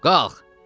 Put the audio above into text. Qalx.